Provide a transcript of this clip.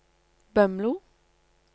Bømlo